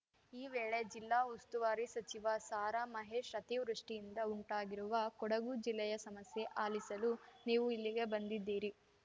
ಈ ವೇಳೆ ಜಿಲ್ಲಾ ಉಸ್ತುವಾರಿ ಸಚಿವ ಸಾರಾ ಮಹೇಶ್‌ ಅತಿವೃಷ್ಟಿಯಿಂದ ಉಂಟಾಗಿರುವ ಕೊಡಗು ಜಿಲ್ಲೆಯ ಸಮಸ್ಯೆ ಆಲಿಸಲು ನೀವು ಇಲ್ಲಿಗೆ ಬಂದಿದ್ದೀರಿ